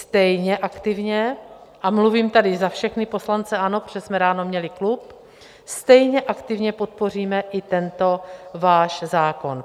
Stejně aktivně, a mluvím tady za všechny poslance ANO, protože jsme ráno měli klub, stejně aktivně podpoříme i tento váš zákon.